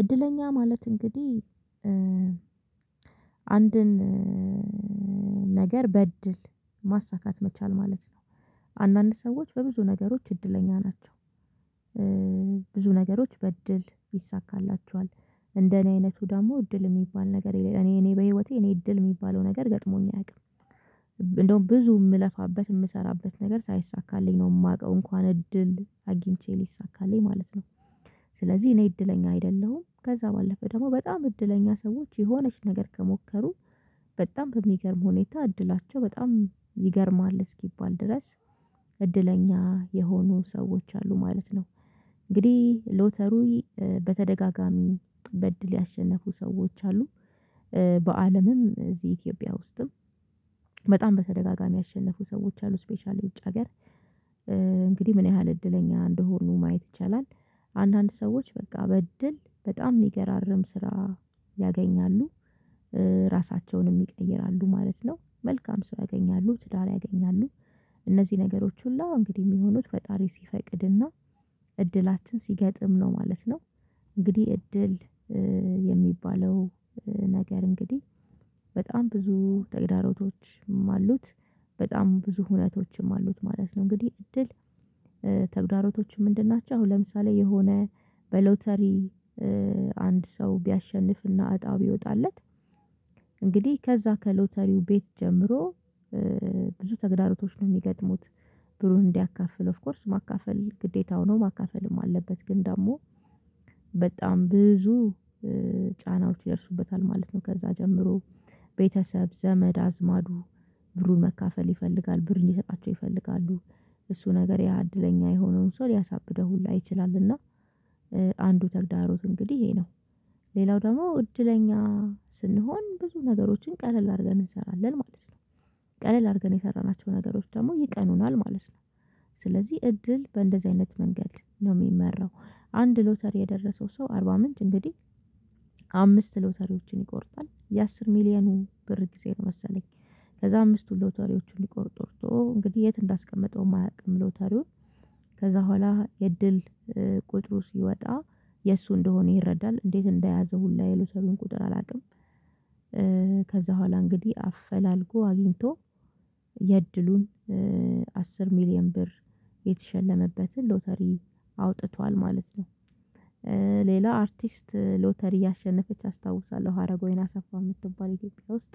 እድለኛ ማለት እንግዲህ አንድን ነገር በእድል ማሳካት መቻል ማለት ነው። አንዳንድ ሰዎች በብዙ ነገሮች እድለኛ ናቸው። ብዙ ነገሮች በእድል ይሳካላቸዋል። እንደኔ አይነቱ ደግሞ እድል የሚባል ነገር እኔ እኔ በህይወቴ እኔ እድል የሚባለው ነገር ገጥሞኝ አያውቅም። እንደውም ብዙ የምለፋበት የምሰራበት ነገር ሳይሳካልኝ ነው የማውቀው እንኳን እድል አግኝቼ ሊሳካልኝ ማለት ነው። ስለዚህ እኔ እድለኛ አይደለሁም። ከዛ ባለፈ ደግሞ በጣም እድለኛ ሰዎች የሆነች ነገር ከሞከሩ በጣም በሚገርም ሁኔታ እድላቸው በጣም ይገርማል እስኪባል ድረስ እድለኛ የሆኑ ሰዎች አሉ ማለት ነው። እንግዲህ ሎተሪ በተደጋጋሚ በእድል ያሸነፉ ሰዎች አሉ። በአለምም እዚህ ኢትዮጵያ ውስጥም በጣም በተደጋጋሚ ያሸነፉ ሰዎች አሉ ስፔሻሊ ውጭ ሀገር። እንግዲህ ምን ያህል እድለኛ እንደሆኑ ማየት ይቻላል። አንዳንድ ሰዎች በቃ በእድል በጣም የሚገራርም ስራ ያገኛሉ። ራሳቸውንም ይቀይራሉ ማለት ነው መልካም ስራ ያገኛሉ ትዳር ያገኛሉ። እነዚህ ነገሮች ሁላ እንግዲህ የሚሆኑት ፈጣሪ ሲፈቅድና እድላችን ሲገጥም ነው ማለት ነው። እንግዲህ እድል የሚባለው ነገር እንግዲህ በጣም ብዙ ተግዳሮቶችም አሉት። በጣም ብዙ ሁኔታዎችም አሉት ማለት ነው። እንግዲህ እድል ተግዳሮቶቹ ምንድን ናቸው? አሁን ለምሳሌ የሆነ በሎተሪ አንድ ሰው ቢያሸንፍና እጣ ቢወጣለት እንግዲህ ከዛ ከሎተሪው ቤት ጀምሮ ብዙ ተግዳሮቶች ነው የሚገጥሙት። ብሩን እንዲያካፍል ኦፍ ኮርስ ማካፈል ግዴታው ነው ማካፈልም አለበት። ግን ደግሞ በጣም ብዙ ጫናዎች ይደርሱበታል ማለት ነው። ከዛ ጀምሮ ቤተሰብ ዘመድ አዝማዱ ብሩን መካፈል ይፈልጋል ብር እንዲሰጣቸው ይፈልጋሉ። እሱ ነገር ያ እድለኛ የሆነውን ሰው ሊያሳብደው ሁላ ይችላልና። አንዱ ተግዳሮት እንግዲህ ይሄ ነው። ሌላው ደግሞ እድለኛ ስንሆን ብዙ ነገሮችን ቀለል አድርገን እንሰራለን ማለት ነው። ቀለል አድርገን የሰራናቸው ነገሮች ደግሞ ይቀኑናል ማለት ነው። ስለዚህ እድል በእንደዚህ አይነት መንገድ ነው የሚመራው። አንድ ሎተሪ የደረሰው ሰው አርባ ምንጭ እንግዲህ አምስት ሎተሪዎችን ይቆርጣል የአስር ሚሊየኑ ብር ጊዜ ነው መሰለኝ። ከዛ አምስቱ ሎተሪዎችን ሊቆርጥ ወርቶ እንግዲህ የት እንዳስቀመጠውም አያውቅም። ሎተሪውን ከዛ በኋላ የእድል ቁጥሩ ሲወጣ የእሱ እንደሆነ ይረዳል እንዴት እንደያዘው ሁላ የሎተሪውን ቁጥር አላውቅም። ከዛ በኋላ እንግዲህ አፈላልጎ አግኝቶ የእድሉን አስር ሚሊየን ብር የተሸለመበትን ሎተሪ አውጥቷል ማለት ነው። ሌላ አርቲስት ሎተሪ ያሸነፈች አስታውሳለሁ ሀረገወይን አሰፋ የምትባል ኢትዮጵያ ውስጥ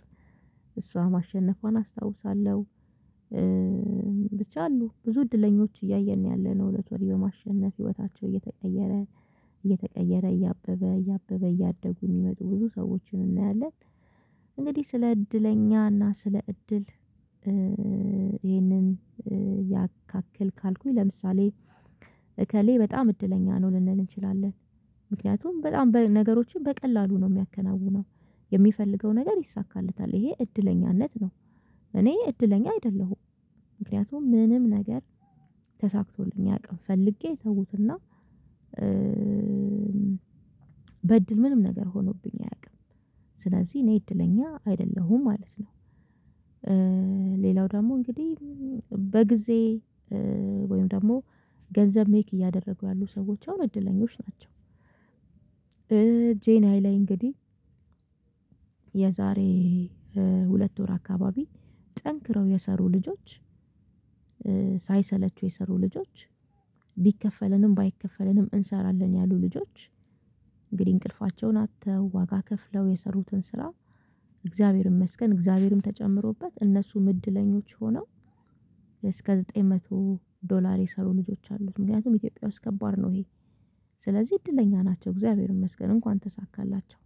እሷ ማሸነፏን አስታውሳለሁ። ብቻ አሉ ብዙ እድለኞች እያየን ነው ያለነው ሎተሪ በማሸነፍ ህይወታቸው እየተቀየረ እየተቀየረ እያበበ እያበበ እያደጉ የሚመጡ ብዙ ሰዎችን እናያለን። እንግዲህ ስለ እድለኛ እና ስለ እድል ይሄንን ያካክል ካልኩኝ ለምሳሌ እከሌ በጣም እድለኛ ነው ልንል እንችላለን። ምክንያቱም በጣም በነገሮችን በቀላሉ ነው የሚያከናውነው የሚፈልገው ነገር ይሳካለታል ይሄ እድለኛነት ነው። እኔ እድለኛ አይደለሁም ምክንያቱም ምንም ነገር ተሳክቶልኝ አያቅም ፈልጌ ተውትና በእድል ምንም ነገር ሆኖብኝ አያውቅም። ስለዚህ እኔ እድለኛ አይደለሁም ማለት ነው። ሌላው ደግሞ እንግዲህ በጊዜ ወይም ደግሞ ገንዘብ ሜክ እያደረጉ ያሉ ሰዎች አሁን እድለኞች ናቸው። ጄናይ ላይ እንግዲህ የዛሬ ሁለት ወር አካባቢ ጠንክረው የሰሩ ልጆች ሳይሰለቹ የሰሩ ልጆች ቢከፈለንም ባይከፈለንም እንሰራለን ያሉ ልጆች እንግዲህ እንቅልፋቸውን አጥተው ዋጋ ከፍለው የሰሩትን ስራ እግዚአብሔርን ይመስገን እግዚአብሔርም ተጨምሮበት እነሱ እድለኞች ሆነው። እስከ ዘጠኝ መቶ ዶላር የሰሩ ልጆች አሉ ምክንያቱም ኢትዮጵያ ውስጥ ከባድ ነው ይሄ። ስለዚህ እድለኛ ናቸው እግዚአብሔር ይመስገን እንኳን ተሳካላቸው።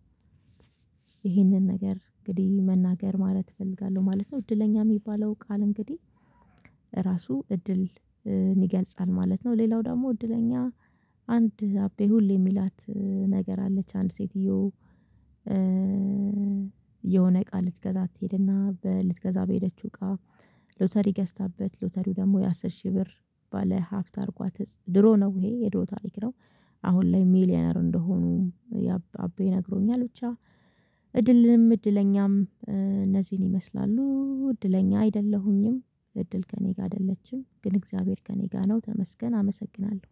ነገር እንግዲህ መናገር ማለት እፈልጋለሁ ማለት ነው። እድለኛ የሚባለው ቃል እንግዲህ እራሱ እድል ይገልጻል ማለት ነው። ሌላው ደግሞ እድለኛ አንድ አቤ ሁሌ የሚላት ነገር አለች አንድ ሴትየው የሆነ ቃል ልትገዛ ትሄድና ልትገዛ በሄደችው እቃ ሎተሪ ገዝታበት ሎተሪው ደግሞ የአሥር ሺህ ብር ባለ ሀፍታ አድርጓት ድሮ ነው ይሄ የድሮ ታሪክ ነው። አሁን ላይ ሚሊየነር እንደሆኑ አቤ ነግሮኛል ብቻ። እድለኛም እነዚህን ይመስላሉ እድለኛ አይደለሁኝም እድል ከእኔ ጋር አይደለችም። ግን እግዚአብሔር ከእኔ ጋር ነው ተመስገን አመሰግናለሁ